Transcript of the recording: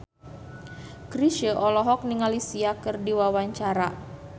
Chrisye olohok ningali Sia keur diwawancara